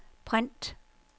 print